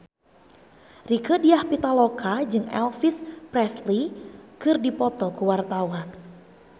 Rieke Diah Pitaloka jeung Elvis Presley keur dipoto ku wartawan